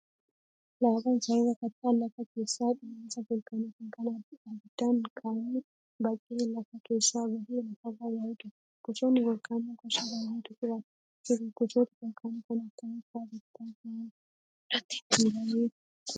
Laavaan sababa kattaan lafa keessaa dhohiinsa volkaanootiin kan abiddaan makamee baqee lafa keessaa bahee lafarra yaa'udha. Gosoonni volkaanoo gosa baay'eetu jiru. Gosoota volkaanoo kan akkamii fa'aa beektaa? Maal irratti hundaa'ee qoodama?